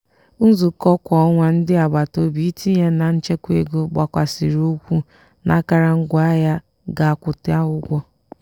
nzukọ kwa ọnwa ndị agbataobi itinye na nchekwa ego gbakwasiri ụkwụ n'akara ngwaahịa ga akwụta ụgwọ.